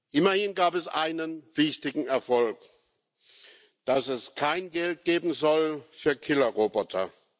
Immerhin gab es einen wichtigen Erfolg Dass es kein Geld geben soll für Killerroboter.